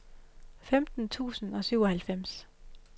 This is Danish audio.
femten tusind og syvoghalvfems